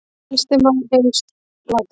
Elsti maður heims látinn